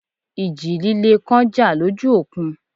Ìjì líle kan jà lójú òkun